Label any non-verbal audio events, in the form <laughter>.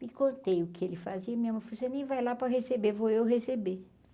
E contei o que ele fazia, minha mãe, <unintelligible> você nem vai lá para receber, vou eu receber.